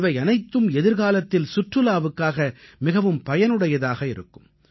இவையனைத்தும் எதிர்காலத்தில் சுற்றுலாவுக்காக மிகவும் பயனுடையதாக இருக்கும்